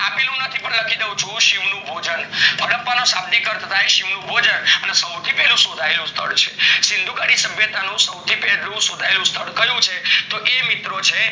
લખી દાવ નું શવ ભોજન હદ્દાપ્પા ના શાબ્દિક અર્થ થાય શિવ નું ભોજન સૌથી પેલું શોથાયેલું સ્થળ છે સીન્ધુકડી સભ્યતા નું સૌથી પેલું શોથાયેલું સ્થળ કયું છે તો એ મિત્રો છે